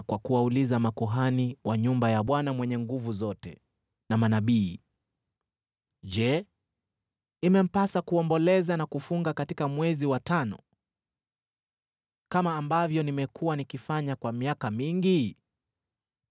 kwa kuwauliza makuhani wa nyumba ya Bwana Mwenye Nguvu Zote na manabii, “Je, imempasa kuomboleza na kufunga katika mwezi wa tano, kama ambavyo nimekuwa nikifanya kwa miaka mingi?”